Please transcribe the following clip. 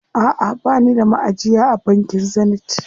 Aʼa bani da maʼajiya a bankin Zenith.